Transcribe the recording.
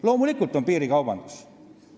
Loomulikult on meil piirikaubandus.